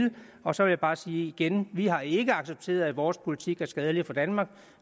og så vil jeg bare sige igen vi har ikke accepteret at vores politik er skadelig for danmark